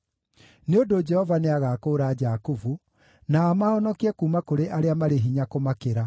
Nĩ ũndũ Jehova nĩagakũũra Jakubu, na amahonokie kuuma kũrĩ arĩa marĩ hinya kũmakĩra.